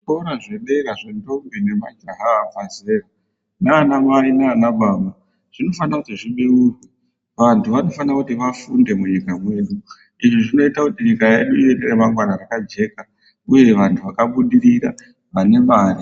Zvikora zvedera zvendombi nemajaha abva zera nana mai nana baba zvinofanira kuti zvibeurwe. Vantu vanofanira kuti vafunde munyika medu. Izvi zvinoita kuti nyika yedu ive neramangwana rakajeka uye vantu vakabudirira vane mari.